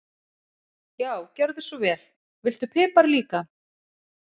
Já, gjörðu svo vel. Viltu pipar líka?